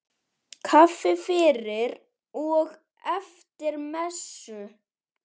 Kaffi fyrir og eftir messu.